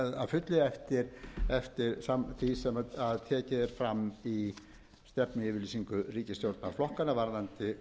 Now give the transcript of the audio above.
fullu eftir var sem tekið er fram í stefnuyfirlýsingu ríkisstjórnarflokkanna varðandi